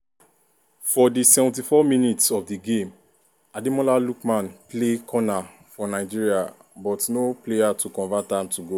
for di 74minutes of di game ademola lookmanplay corner for nigeria but no player to convert am to goal.